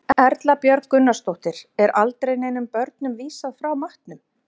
Erla Björg Gunnarsdóttir: Er aldrei neinum börnum vísað frá matnum?